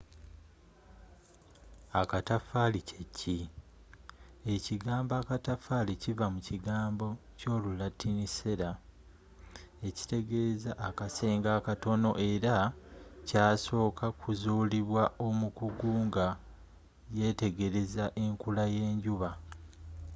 akataffali kyeki? ekigambo akatafaali kiva mu kigambo kyolulatini cella” ekitegeeza akasenge akatono” era kyasoka kuzulibwa omukugu nga yetegereza enkula yenjuba